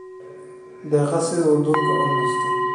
daaqa si uu dhulku u nasto.